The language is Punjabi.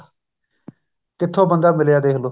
ਕਿੱਥੋ ਬੰਦਾ ਮਿਲਿਆ ਦੇਖਲੋ